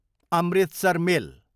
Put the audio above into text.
Amritsar मेल